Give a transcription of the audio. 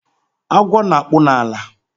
Agwo na-akpụ n'ala